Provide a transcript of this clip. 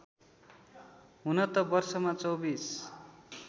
हुन त वर्षमा २४